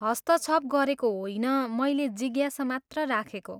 हस्तक्षप गरेको होइन, मैले जिज्ञासा मात्र राखेको।